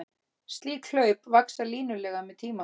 Slík hlaup vaxa línulega með tíma.